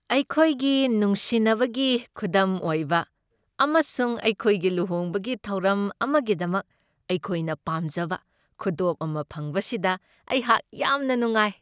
ꯑꯩꯈꯣꯏꯒꯤ ꯅꯨꯡꯁꯤꯟꯅꯕꯒꯤ ꯈꯨꯗꯝ ꯑꯣꯏꯕ ꯑꯃꯁꯨꯡ ꯑꯩꯈꯣꯏꯒꯤ ꯂꯨꯍꯣꯡꯕꯒꯤ ꯊꯧꯔꯝ ꯑꯃꯒꯤꯗꯃꯛ ꯑꯩꯈꯣꯏꯅ ꯄꯥꯝꯖꯕ ꯈꯨꯗꯣꯞ ꯑꯃ ꯐꯪꯕꯁꯤꯗ ꯑꯩꯍꯥꯛ ꯌꯥꯝꯅ ꯅꯨꯡꯉꯥꯏ ꯫